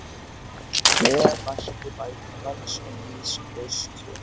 Hve mætti bæta lands og lýðs vors kjör